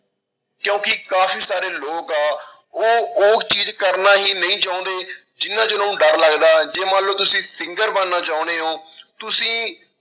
ਕਿਉਂਕਿ ਕਾਫ਼ੀ ਸਾਰੇ ਲੋਕ ਆ ਉਹ ਉਹ ਚੀਜ਼ ਕਰਨਾ ਹੀ ਨਹੀਂ ਚਾਹੁੰਦੇ, ਜਿਹਨਾਂ ਚ ਉਹਨਾਂ ਨੂੰ ਡਰ ਲੱਗਦਾ, ਜੇ ਮਨ ਲਓ ਤੁਸੀਂ singer ਬਣਨਾ ਚਾਹੁੰਦੇ ਹੋ ਤੁਸੀਂ